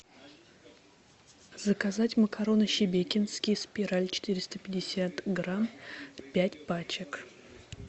заказать макароны шебекинские спираль четыреста пятьдесят грамм пять пачек